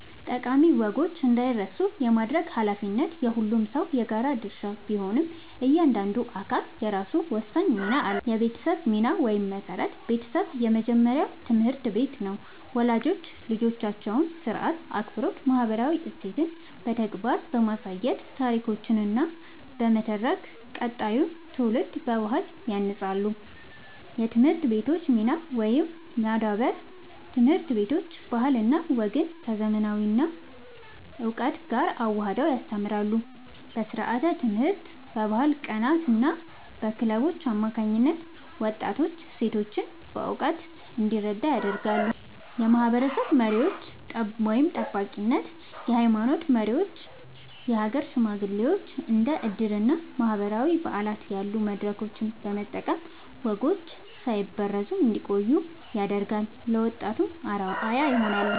ጠቃሚ ወጎች እንዳይረሱ የማድረግ ኃላፊነት የሁሉም ሰው የጋራ ድርሻ ቢሆንም፣ እያንዳንዱ አካል የራሱ ወሳኝ ሚና አለው፦ የቤተሰብ ሚና (መሠረት)፦ ቤተሰብ የመጀመሪያው ትምህርት ቤት ነው። ወላጆች ልጆቻቸውን ሥርዓት፣ አክብሮትና ማህበራዊ እሴቶችን በተግባር በማሳየትና ታሪኮችን በመተረክ ቀጣዩን ትውልድ በባህል ያንጻሉ። የትምህርት ቤቶች ሚና (ማዳበር)፦ ትምህርት ቤቶች ባህልና ወግን ከዘመናዊ እውቀት ጋር አዋህደው ያስተምራሉ። በስርዓተ-ትምህርት፣ በባህል ቀናትና በክለቦች አማካኝነት ወጣቱ እሴቶቹን በእውቀት እንዲረዳ ያደርጋሉ። የማህበረሰብ መሪዎች (ጠባቂነት)፦ የሃይማኖት መሪዎችና የሀገር ሽማግሌዎች እንደ ዕድርና ማህበራዊ በዓላት ያሉ መድረኮችን በመጠቀም ወጎች ሳይበረዙ እንዲቆዩ ያደርጋሉ፤ ለወጣቱም አርአያ ይሆናሉ።